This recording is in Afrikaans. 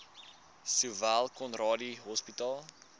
sowel conradie hospitaal